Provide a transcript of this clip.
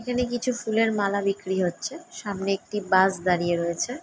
এইখানে কিছু ফুলের মালা বিরকিরি হচ্ছে সামনে একটি বাস দাঁড়িয়ে রয়েছে ।